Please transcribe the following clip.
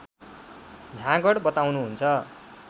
झाँगड बताउनुहुन्छ